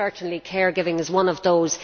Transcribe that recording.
Certainly care giving is one of those.